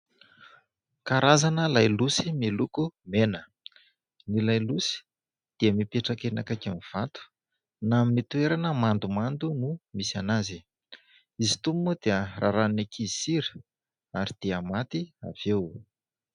Karazana lailosy miloko mena. Ny lailosy dia mipetraka eny akaikin'ny vato na amin'ny toerana mandomando no misy azy. Izy itony moa dia rarahan'ny ankizy sira ary dia maty avy eo.